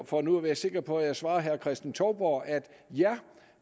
for nu at være sikker på at jeg svarer herre kristen touborg at